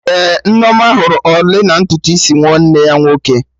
Ee, Nneoma hụrụ ọlị na ntutu isi nwanne ya nwoke